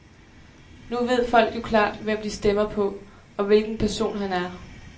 Nu ved folk jo klart, hvem de stemmer på, og hvilken person han er.